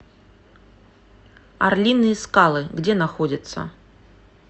орлиные скалы где находится